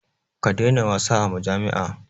Ka daina wasa a majami'a.